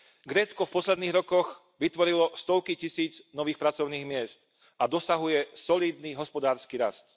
Grécko v posledných rokoch vytvorilo stovky tisíc nových pracovných miest a dosahuje solídny hospodársky rast.